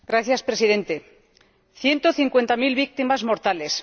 Señor Presidente, 150000 víctimas mortales